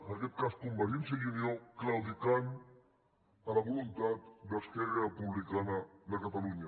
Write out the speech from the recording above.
en aquest cas convergència i unió claudicant a la voluntat d’esquerra republicana de catalunya